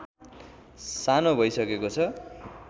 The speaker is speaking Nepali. सानो भइसकेको छ